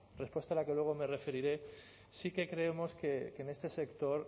respuesta a la que luego me referiré sí que creemos que en este sector